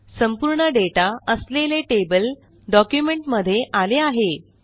संपूर्ण डेटा असलेले table document मध्ये आले आहे